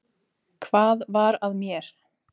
Hvað var að mér?